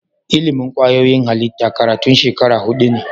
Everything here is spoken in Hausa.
Ilimin kwayoyin halitta karatun shekara hudu ne